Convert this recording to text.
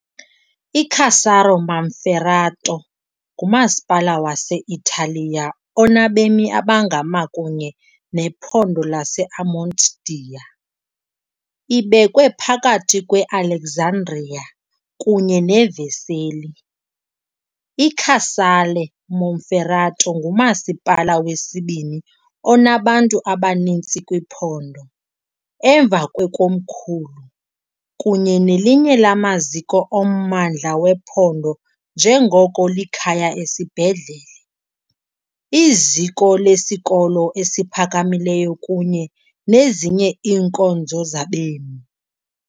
ICasale Monferrato ngumasipala wase-Italiya onabemi abangama kunye nephondo lase-Amontdia .Ibekwe phakathi kweAlessandria kunye neVercelli, iCasale Monferrato ngumasipala wesibini onabantu abaninzi kwiphondo, emva kwekomkhulu, kunye nelinye lamaziko ommandla wephondo njengoko likhaya esibhedlele, iziko lesikolo esiphakamileyo kunye nezinye iinkonzo zabemi.